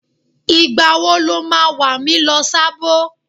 Ìgbà wo lo ma wà mí lọ Sábó?